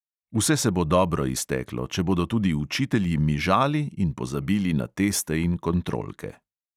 Vse se bo dobro izteklo, če bodo tudi učitelji mižali in pozabili na teste in kontrolke.